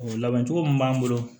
O labɛn cogo min b'an bolo